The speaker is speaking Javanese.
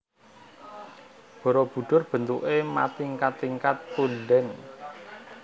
Barabudhur bentuké matingkat tingkat pundèn